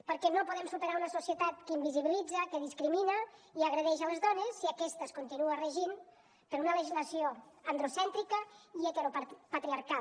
perquè no podem superar una societat que invisibilitza que discrimina i agredeix les dones si aquesta es continua regint per una legislació androcèntrica i heteropatriarcal